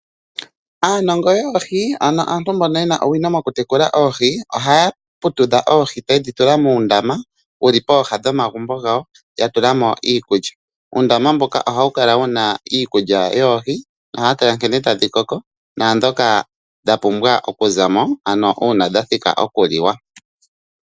Aanongo yoohi ano aantu mboka yena owino yoku tekula oohi, ohaya putudha oohi yedhi tula muundama wuli pooha dho magumbo gawo, ya tula mo iikulya, uundama mbuka ohawu kala wuna iikulya yoohi nohoya kala taa tadhi koko naadhoka dha pumbwa okuza mo uuna dha thika oku li wa.